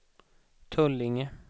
Tullinge